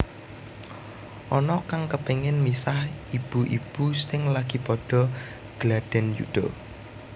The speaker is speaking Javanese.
Ana kang kepengin misah ibu ibu sing lagi padha gladhen yuda